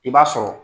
I b'a sɔrɔ